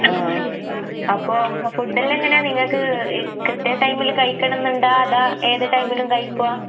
ആഹ്. അപ്പൊ ഫുഡെല്ലാം എങ്ങനാ നിങ്ങക്ക് ഈ കൃത്യ ടൈമില് കയിക്കണന്നിണ്ടാ അതാ ഏത് ടൈമിലും കഴിക്കുവാ?